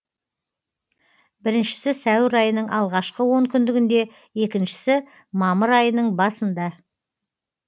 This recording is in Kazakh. біріншісі сәуір айының алғашқы онкүндігінде екіншісі мамыр айының басында